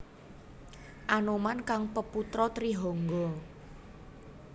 Anoman kang peputra Trihangga